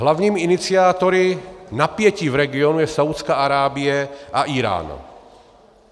Hlavními iniciátory napětí v regionu je Saúdská Arábie a Írán.